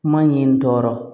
Kuma in tɔɔrɔ